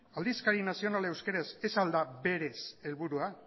aldizkari nazionala euskaraz ez al da berez helburua